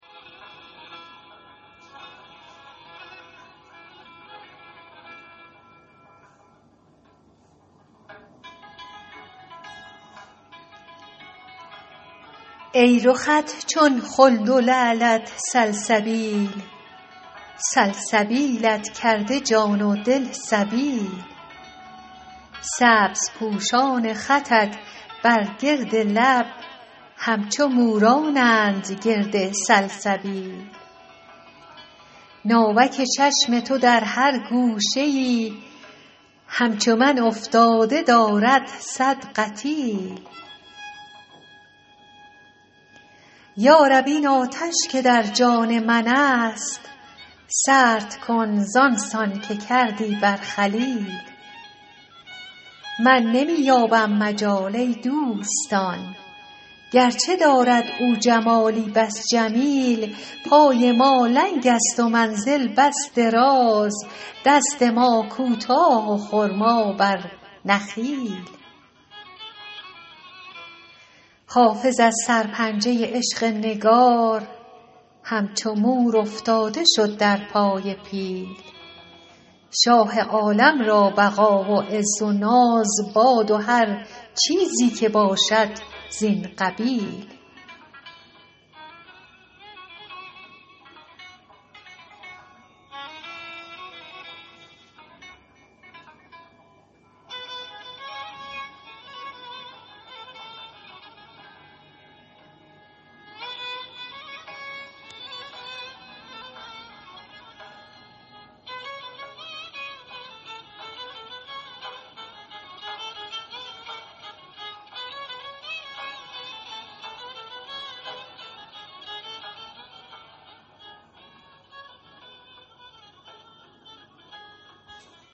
ای رخت چون خلد و لعلت سلسبیل سلسبیلت کرده جان و دل سبیل سبزپوشان خطت بر گرد لب همچو مورانند گرد سلسبیل ناوک چشم تو در هر گوشه ای همچو من افتاده دارد صد قتیل یا رب این آتش که در جان من است سرد کن زان سان که کردی بر خلیل من نمی یابم مجال ای دوستان گرچه دارد او جمالی بس جمیل پای ما لنگ است و منزل بس دراز دست ما کوتاه و خرما بر نخیل حافظ از سرپنجه عشق نگار همچو مور افتاده شد در پای پیل شاه عالم را بقا و عز و ناز باد و هر چیزی که باشد زین قبیل